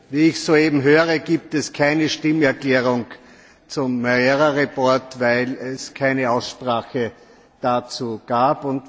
Wie ich soeben höre, gibt es keine Stimmerklärung zum Bericht Moreira, weil es keine Aussprache dazu gab.